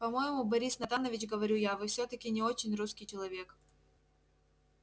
по-моему борис натанович говорю я вы всё-таки не очень русский человек